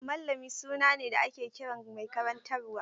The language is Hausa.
Mallami suna ne da ake kiran mai karantarwa.